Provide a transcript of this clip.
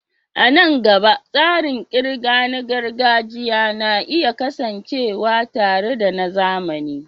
A nan gaba, tsarin ƙirga na gargajiya na iya kasancewa tare da na zamani.